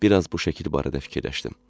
Bir az bu şəkil barədə fikirləşdim.